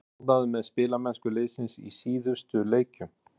Ertu ánægður með spilamennsku liðsins í síðustu leikjum?